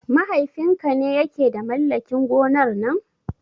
Mahaifin ka ne ya ke da mallakin gonar nan?